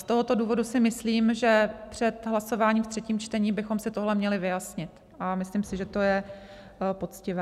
Z tohoto důvodu si myslím, že před hlasováním v třetím čtení bychom si tohle měli vyjasnit, a myslím si, že to je poctivé.